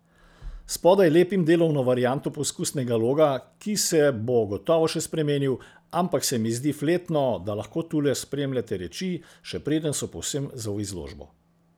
Spodaj lepim delovno varianto poskusnega loga, ki se bo gotovo še spremenil, ampak se mi zdi fletno, da lahko tule spremljate reči, še preden so povsem za v izložbo.